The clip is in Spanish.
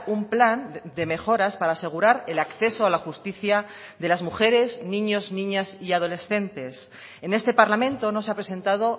un plan de mejoras para asegurar el acceso a la justicia de las mujeres niños niñas y adolescentes en este parlamento no se ha presentado